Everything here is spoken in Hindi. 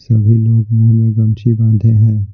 सभी लोग मुंह में गमची बांधे हैं।